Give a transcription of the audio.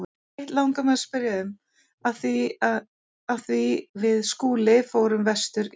Eitt langar mig að spyrja um, af því við Skúli förum vestur í kvöld.